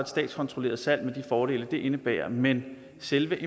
statskontrolleret salg med de fordele det indebærer men selve